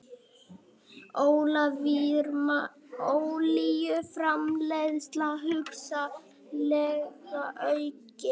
Olíuframleiðsla hugsanlega aukin